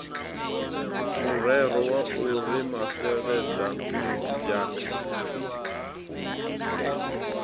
murero wa u ri mafeladambwa